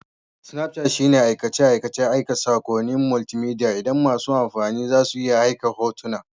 Snapchat shine aikace-aikacen aika saƙonnin multimedia inda masu amfani za su iya aika hotuna